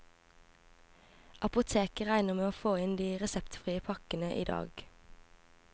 Apoteket regner med å få inn de reseptfrie pakkene i dag.